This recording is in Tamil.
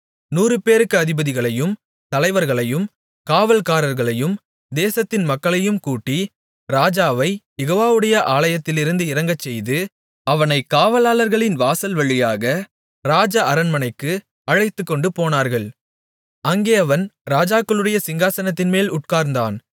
நூறுபேருக்கு அதிபதிகளையும் தலைவர்களையும் காவலாளர்களையும் தேசத்தின் மக்களையும் கூட்டி ராஜாவைக் யெகோவாவுடைய ஆலயத்திலிருந்து இறங்கச்செய்து அவனைக் காவலாளர்களின் வாசல் வழியாக ராஜஅரண்மனைக்கு அழைத்துக்கொண்டு போனார்கள் அங்கே அவன் ராஜாக்களுடைய சிங்காசனத்தின்மேல் உட்கார்ந்தான்